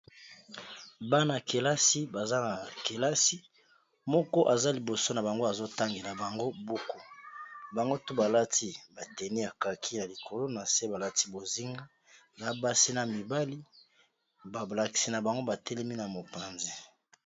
bana kelasi baza na kelasi moko aza liboso na bango azotangi na bango buku. bango to balati bateni ya kaki ya likolo na se balati bozinga na basi na mibali bablakisi na bango batelemi na mopanzi